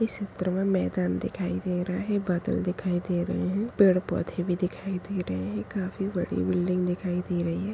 इस चित्र मे मैदान दिखाई दे रहा है बादल दिखाई दे रहे हैं पेड़ पौधे भी दिखाई दे रहे हैं काफी बड़ी बिल्डिंग दिखाई दे रही है।